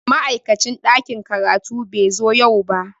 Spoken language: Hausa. Ma'aikacin ɗakin karatu bai zo yau ba.